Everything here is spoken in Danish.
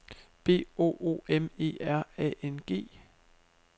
B O O M E R A N G